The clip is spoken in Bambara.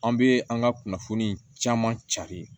An bɛ an ka kunnafoni caman cari